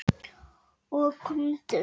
Stundum ekki.